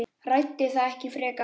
Ræddi það ekki frekar.